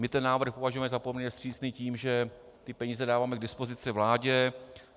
My ten návrh považujeme za poměrně vstřícný tím, že ty peníze dáváme k dispozici vládě.